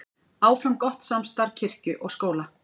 Áfram gott samstarf kirkju og skóla